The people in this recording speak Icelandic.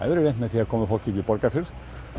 verið reynt með því að koma fólki upp í Borgarfjörð